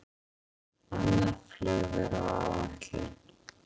Annað flug er á áætlun